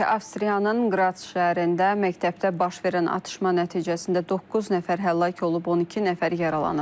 Avstriyanın Qrats şəhərində məktəbdə baş verən atışma nəticəsində doqquz nəfər həlak olub, 12 nəfər yaralanıb.